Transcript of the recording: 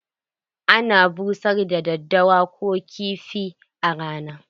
Ana busar da daddawa Ko kifi a rana.